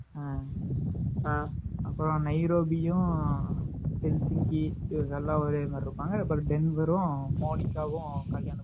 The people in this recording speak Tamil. ஆஹ் அப்பறம் நைரோபியும் இவங்க எல்லாம் ஒரேமாதிரி இருப்பாங்க.அதுக்கப்பறம் டென்செரும், மோனிகாவும்